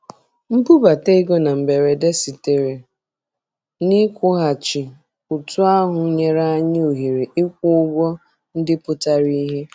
Mbubata ego na mberede sitere na nkwụghachi ụtụ ahụ nyere anyị ohere ịkwụ ụgwọ ndị pụtara ìhè.